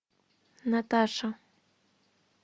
наташа